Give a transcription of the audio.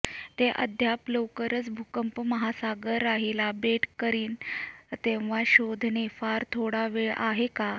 ते अद्याप लवकरच भूकंप महासागर राहिला बेट करीन तेव्हा शोधणे फार थोडा वेळ आहे का